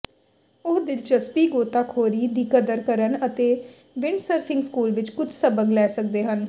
ਉਹ ਦਿਲਚਸਪੀ ਗੋਤਾਖੋਰੀ ਦੀ ਕਦਰ ਕਰਨ ਅਤੇ ਵਿੰਡਸਰਫਿੰਗ ਸਕੂਲ ਵਿਚ ਕੁਝ ਸਬਕ ਲੈ ਸਕਦੇ ਹਨ